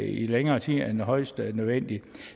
i længere tid end højst nødvendigt